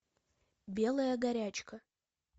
белая горячка